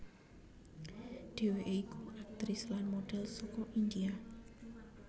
Dheweke iku aktris lan modhel saka India